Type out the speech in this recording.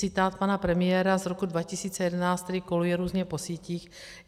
Citát pana premiéra z roku 2011, který koluje různě po sítích.